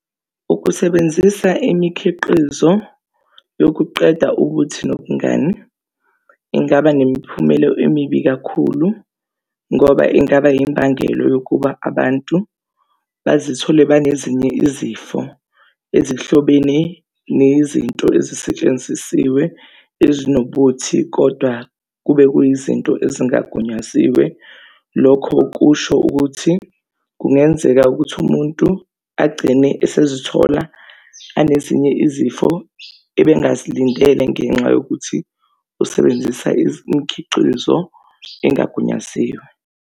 Ukusebenzisa imikhiqizo yokuqeda ubuthi nobungane, ingaba nemiphumelo emibi kakhulu, ngoba ingaba imbangelo yokuba abantu bazithole banezinye izifo ezihlobene nezinto ezisetshenzisiwe ezinobuthi, kodwa kube kuyizinto ezingagunyaziwe. Lokho kusho ukuthi kungenzeka ukuthi umuntu agcine esezithola anezinye izifo ebengazilindele ngenxa yokuthi usebenzisa imikhiqizo engagunyaziwe.